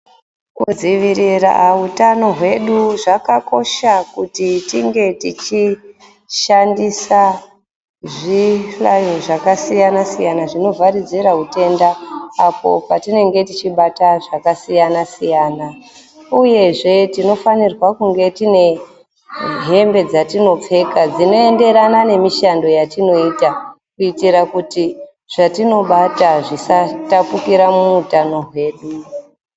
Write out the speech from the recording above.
Kudzivirira hutano hwedu zvakakosha kuti tinge tichishandisa zvihlayo zvakasiyana-siyana, zvinobva zera utenda. Apo patinonga tichimbata zvakasiyana-siyana, uyezve tinofanirwa kunge tine hembe dzatinopfeka dzinoenderana nemishando yatinoita. Kuitira kuti zvatinobata zvisatapukira muutano hwedu.